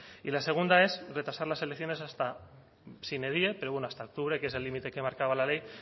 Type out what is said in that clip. y la segunda es retrasar las elecciones hasta sine die pero bueno hasta octubre que es el límite que marcaba la ley